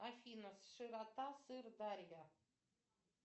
афина широта сырдарья